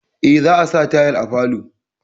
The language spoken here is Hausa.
Eh, za a sa tayal à falo.